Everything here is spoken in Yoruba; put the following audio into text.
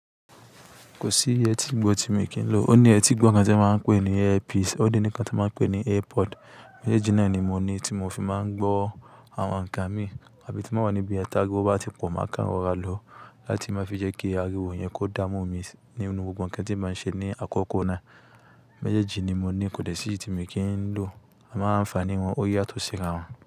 Kò sí ẹtì gbọ́ tí mo kì n lò. Ó ní ẹtì gbọ́ kan tí won máa ń pè ní earpiece, ó de ní kan tí a máa ń pè ní airpod. Méjèèjì náà ni mo ní tí mo fi máa ń gbọ́ àwọn nǹkan mi àbí tí màá wà níbí tariwo bá ti pọ̀ mọ́ ká rọ́ra lọ láti máa fi jẹ́ kí ariwo yẹn kó dá mú mi ní gbogbo nǹkan tí màá ṣe ní àkọ́kọ́ náà. Méjèèjì ni mo ní, kò sì tí mo kì ń lò, a moń anfani wọn, ó yàtò síra wọn.